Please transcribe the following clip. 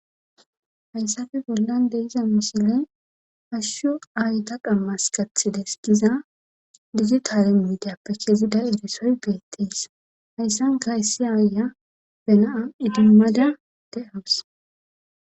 hayssafe bollan deiza mishile hashshu aayita qammas gathides giza dizi taalen miideyappe kezida erisoy beetteys hayssankayssi aaya benaa idimmada de7awus